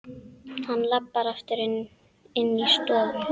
Hann labbaði aftur inní stofu.